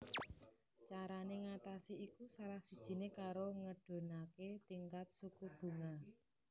Carané ngatasi iku salah sijiné karo ngedhunaké tingkat suku bunga